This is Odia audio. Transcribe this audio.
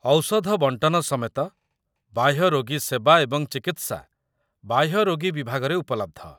ଔଷଧ ବଣ୍ଟନ ସମେତ ବାହ୍ୟ ରୋଗୀ ସେବା ଏବଂ ଚିକିତ୍ସା ବାହ୍ୟ ରୋଗୀ ବିଭାଗରେ ଉପଲବ୍ଧ।